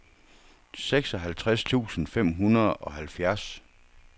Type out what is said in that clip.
seksoghalvtreds tusind fem hundrede og halvfjerds